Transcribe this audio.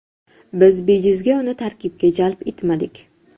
Biz bejizga uni tarkibga jalb etmadik.